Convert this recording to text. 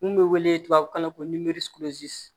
N kun bɛ wele tubabukan na ko